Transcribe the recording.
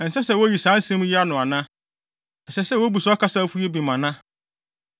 “Ɛnsɛ sɛ woyi saa nsɛm yi ano ana? Ɛsɛ sɛ wobu saa ɔkasafo yi bem ana?